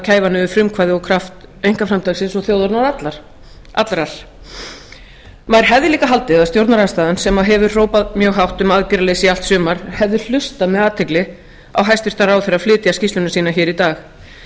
niður frumkvæði og kraft einkaframtaksins og þjóðarinnar allrar maður hefði líka haldið að stjórnarandstaðan sem hefur hrópað mjög hátt um aðgerðaleysi í allt sumar hefði hlustað með athygli á hæstvirtan ráðherra flytja skýrsluna sína hér í dag